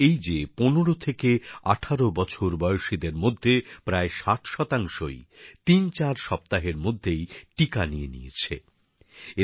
এর অর্থ এই যে ১৫ থেকে ১৮ বছর বয়সীদের মধ্যে প্রায় ৬০ শতাংশই ৩৪ সপ্তাহের মধ্যেই টিকা নিয়ে নিয়েছেন